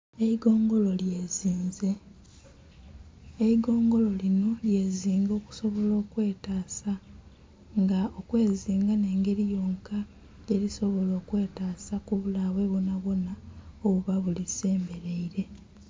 Eigongolo lyezinze. Eigongolo linho lyezinga okusobola okwetaasa. Nga okwezinga nh'engeli yonka yelisobola okwetaasa ku bulabe bwonabwona obuba bulisembeleile.